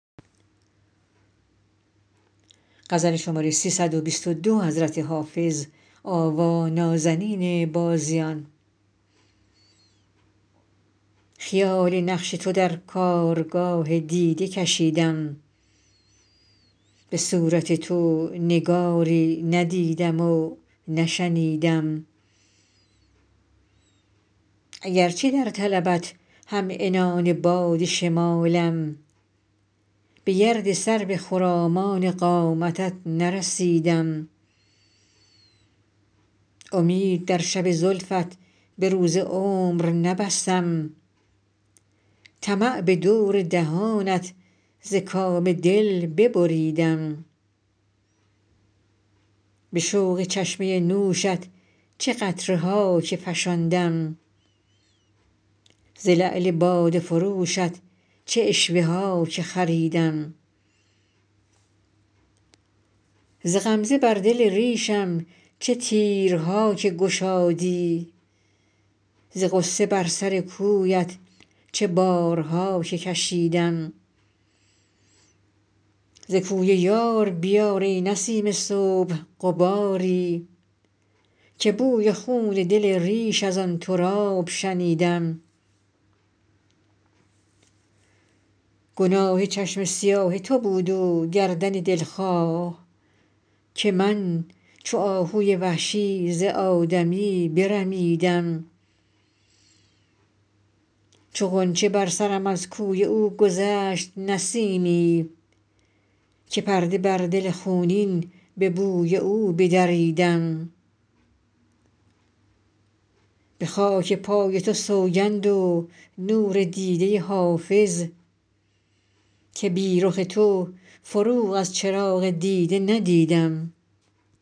خیال نقش تو در کارگاه دیده کشیدم به صورت تو نگاری ندیدم و نشنیدم اگرچه در طلبت هم عنان باد شمالم به گرد سرو خرامان قامتت نرسیدم امید در شب زلفت به روز عمر نبستم طمع به دور دهانت ز کام دل ببریدم به شوق چشمه نوشت چه قطره ها که فشاندم ز لعل باده فروشت چه عشوه ها که خریدم ز غمزه بر دل ریشم چه تیرها که گشادی ز غصه بر سر کویت چه بارها که کشیدم ز کوی یار بیار ای نسیم صبح غباری که بوی خون دل ریش از آن تراب شنیدم گناه چشم سیاه تو بود و گردن دلخواه که من چو آهوی وحشی ز آدمی برمیدم چو غنچه بر سرم از کوی او گذشت نسیمی که پرده بر دل خونین به بوی او بدریدم به خاک پای تو سوگند و نور دیده حافظ که بی رخ تو فروغ از چراغ دیده ندیدم